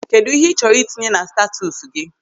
Kedụ ihe ị chọrọ itinye na statọsi gị?